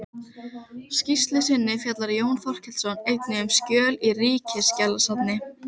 skýrslu sinni fjallar Jón Þorkelsson einnig um skjöl í Ríkisskjalasafni